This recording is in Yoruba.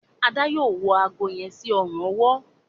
Ada yóò wọ àgó yen sí Ọrùn ọwọ́.